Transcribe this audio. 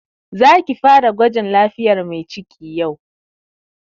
Za ki fara gwajin lafiyar Mai ciki yau!